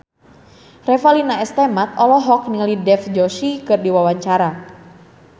Revalina S. Temat olohok ningali Dev Joshi keur diwawancara